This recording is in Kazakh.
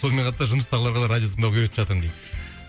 сонымен қатар жұмыстағыларға радио тыңдауға үйретіп жатырмын дейді